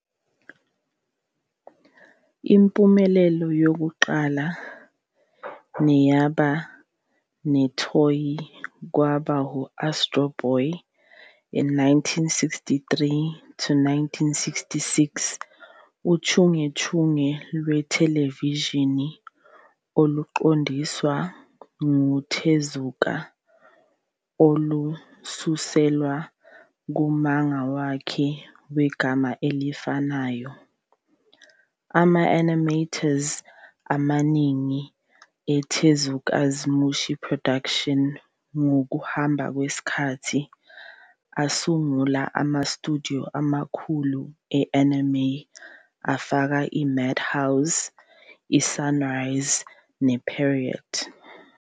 Impumelelo yokuqala neyaba nethonya kwaba ngu-"Astro Boy", 1963-66, uchungechunge lwethelevishini oluqondiswa nguTezuka olususelwa kumanga wakhe wegama elifanayo. Ama-animators amaningi eTezuka's Mushi Production ngokuhamba kwesikhathi asungula ama-studio amakhulu e-anime, afaka iMadhouse, iSunrise, nePierrot.